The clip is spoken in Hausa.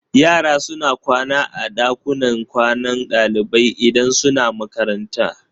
Yara suna kwana a ɗakunan kwanan ɗalibai idan suna makaranta.